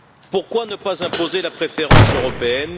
Pourquoi ne pas imposer la préférence européenne?